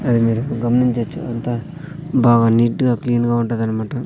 అది మీరిక్కడ గమనించొచ్చు అంతా బాగా నీట్ గా క్లీన్ గా ఉంటదనమాట.